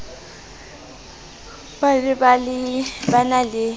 ba ne ba na le